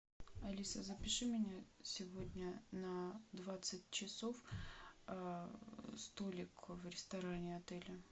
алиса запиши меня сегодня на двадцать часов столик в ресторане отеля